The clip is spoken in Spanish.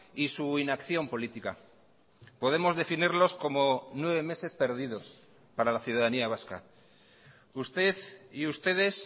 y su inacción política podemos definirlos como nueve meses perdidos para la ciudadanía vasca usted y ustedes